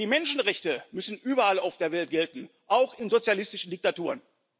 Die Menschenrechte müssen überall auf der Welt gelten, auch in sozialistischen Diktaturen.